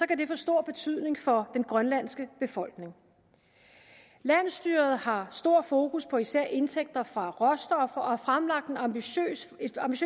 kan det få stor betydning for den grønlandske befolkning landsstyret har stor fokus på især indtægter fra råstoffer og har fremlagt et ambitiøst